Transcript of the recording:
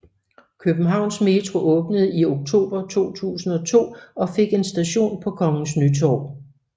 Københavns Metro åbnede i oktober 2002 og fik en station på Kongens Nytorv